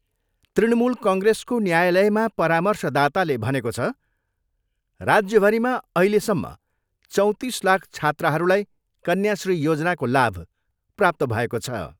तृणमूल कङ्ग्रेसको न्यायालयमा परामर्शदाताले भनेको छ, राज्यभरिमा अहिलसम्म चौँतिस लाख छात्राहरूलाई कन्याश्री योजनाको लाभ प्राप्त भएको छ।